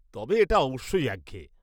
তবে, এটা অবশ্যই একঘেয়ে।